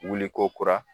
Wuliko kura